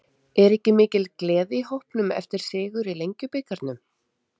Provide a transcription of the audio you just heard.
Er ekki mikil gleði í hópnum eftir sigur í Lengjubikarnum?